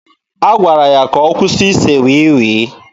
A gwara ya ka ọ kwụsị ise wii wii.